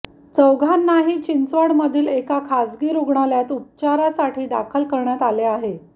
चौघांनाही चिंचवड मधील एका खाजगी रुग्णालयात उपचारासाठी दाखल करण्यात आले आहे